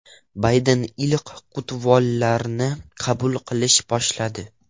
Bayden ilk qutlovlarni qabul qilishni boshladi.